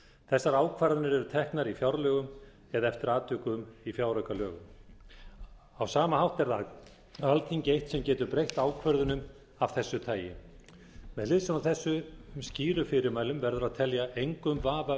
þessar ákvarðanir eru teknar í fjárlögum eða eftir atvikum í fjáraukalögum á sama hátt er það alþingi eitt sem getur breytt ákvörðunum af þessu tagi með hliðsjón af þessum skýru fyrirmælum verður að telja engum vafa